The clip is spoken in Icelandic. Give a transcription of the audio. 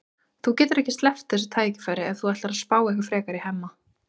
Þú getur ekki sleppt þessu tækifæri ef þú ætlar að spá eitthvað frekar í Hemma.